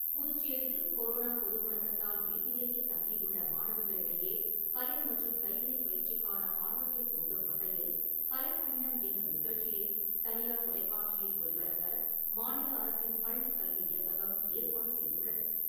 புதுச்சேரியில் கொரோனா பொது முடக்கத்தால் வீட்டிலேயே தங்கி உள்ள மாணவர்களிடையே கலை மற்றம் கைவினை பயிற்சிக்கான ஆர்வத்தை தூண்டும் வகையில் கலைப் பயணம் என்னும் நிகழ்ச்சியை தனியார் தொலைக்காட்சியில் ஒளிபரப்ப மாநில அரசின் பள்ளி கல்வி இயக்ககம் ஏற்பாடு செய்துள்ளது.